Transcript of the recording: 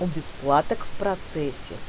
у бесплаток в процессе